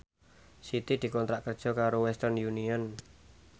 Siti dikontrak kerja karo Western Union